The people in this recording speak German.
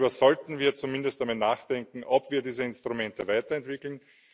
Darüber sollten wir zumindest einmal nachdenken, ob wir diese Instrumente weiterentwickeln.